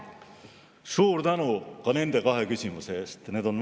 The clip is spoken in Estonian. Suur tänu ka nende kahe küsimuse eest!